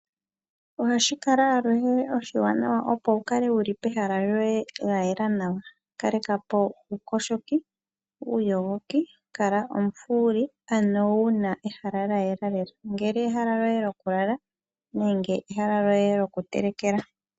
Ohashi kala aluhe oshiwanawa opo wu kale wu li pehala lyoye lya yela nawa. Kaleka po uuyogoki. Kala omufuuli ano wu na ehala lya yela lela, ongele ehala lyoye lyokulala nenge ehala lyoye lyokutelekela.